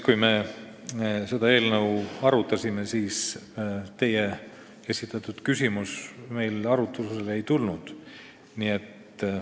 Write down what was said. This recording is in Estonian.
Kui me seda eelnõu komisjonis arutasime, siis teie esitatud küsimus arutlusele ei tulnud.